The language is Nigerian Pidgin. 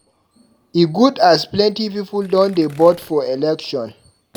E good as plenty pipu don dey vote for election.